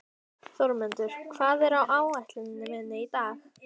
Þórmundur, hvað er á áætluninni minni í dag?